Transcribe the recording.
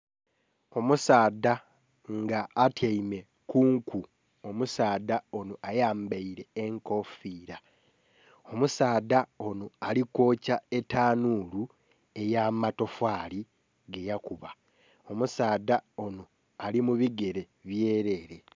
Omusaadha nga atyaime ku nku, omusaadha onho ayambaire enkofira omusaadha onho ali kwokya tanhulu eya matafali ge yakubba . Omusaadha onho ali mu bigere byerere.